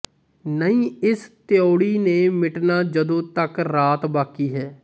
ਨਹੀਂ ਇਸ ਤਿਊੜੀ ਨੇ ਮਿਟਣਾ ਜਦੋਂ ਤਕ ਰਾਤ ਬਾਕੀ ਹੈ